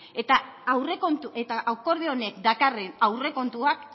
eta aurrekontu eta akordio honek dakarren aurrekontuak